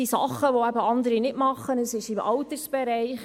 Die Kirche tut Dinge, welche andere nicht leisten, etwa im Altersbereich.